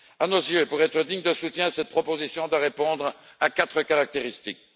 À nos yeux, pour mériter un soutien, cette proposition doit répondre à quatre caractéristiques.